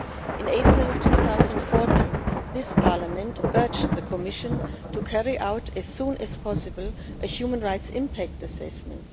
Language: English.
In April 2014, this Parliament urged the Commission to carry out as soon as possible a human rights impact assessment.